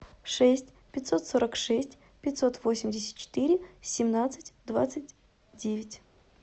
шесть пятьсот сорок шесть пятьсот восемьдесят четыре семнадцать двадцать девять